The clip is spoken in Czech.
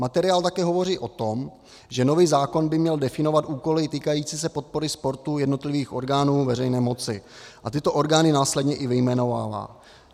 Materiál také hovoří o tom, že nový zákon by měl definovat úkoly týkající se podpory sportu jednotlivých orgánů veřejné moci, a tyto orgány následně i vyjmenovává.